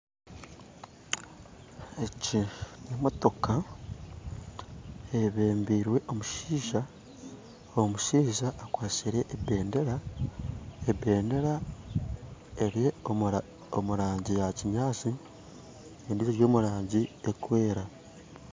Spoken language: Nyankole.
Egi n'emotoka eyebembairwe omushaija, omushaija akwatsire ebendera, ebendera eri omurangi ya Kinyaatsi, endijo eri omurangi y'okwera.